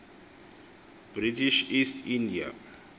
british east india